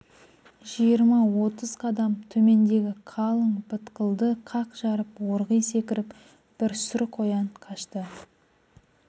жиырма-отыз қадам төмендегі қалың бытқылды қақ жарып орғи секіріп бір сұр қоян қашты